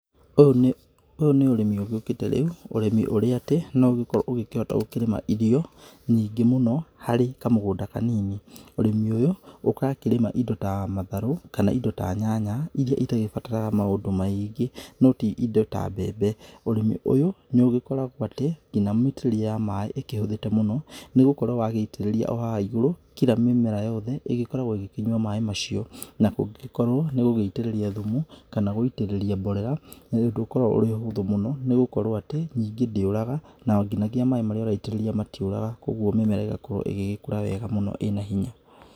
Ũyũ nĩ, ũyũ nĩ ũrĩmi ũgĩũkĩte rĩu. Ũrĩmi ũrĩa atĩ, no ũgĩkorwo ũkĩhota gũkĩrĩma irio nyingi mũno harĩ kamũgũnda kanini. Ũrĩmi ũyũ, ũgakĩrĩma indo ta matharũ kana indo ta nyanya, irĩa itagĩbataraga maũndũ maĩngĩ, no ti indo ta mbembe. Ũrĩmi ũyũ nĩũgĩkoragwo atĩ, nginya mĩitĩrĩrie ya maĩ ĩkĩhũthĩte mũno nĩgũkorwo wagĩitĩrĩria o haha igũrũ, kira mĩmera yothe ĩgĩkoragwo ĩgĩkĩnyua maĩ macio. Na kũngĩgĩkorwo nĩũgũgĩitĩrĩria thumu, kana gũitĩrĩria mborera, nĩ ũndũ ũkoragwo ũrĩ ũhũthũ mũno nĩ gũkorwo atĩ nyingĩ ndĩũraga, na nginya maĩ marĩ ũraitĩrĩria matiũraga, kogwo mĩmera ĩgakorwo ĩgĩgĩkũra wega mũno ĩna hinya.